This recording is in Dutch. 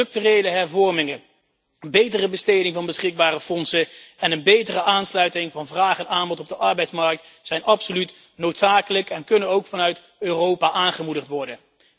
Structurele hervormingen, betere besteding van beschikbare fondsen en een betere aansluiting van vraag en aanbod op de arbeidsmarkt zijn absoluut noodzakelijk en kunnen ook vanuit Europa aangemoedigd worden.